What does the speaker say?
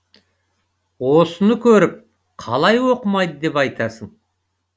осыны көріп қалай оқымайды деп айтасың